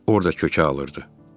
Orda kökə alırdı.